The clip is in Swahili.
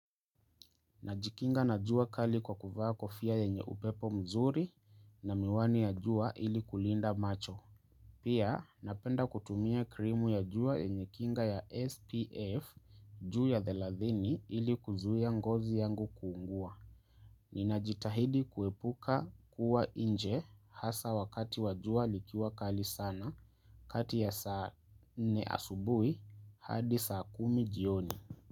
Najikinga na jua kali kwa kuvaa kofia yenye upepo mzuri na miwani ya jua ili kulinda macho. Pia napenda kutumia krimu ya jua yenye kinga ya SPF juu ya thelathini ili kuzuia ngozi yangu kuungua. Ninajitahidi kuepuka kuwa nje hasa wakati wa jua likiwa kali sana kati ya saa nne asubuhi hadi saa kumi jioni.